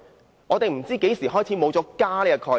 各位，我們不知何時開始已沒有"家"的概念。